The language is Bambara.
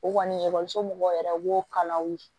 O kɔni ekɔliso mɔgɔw yɛrɛ b'o kalaw ye